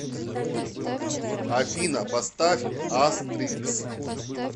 афина поставь астрикс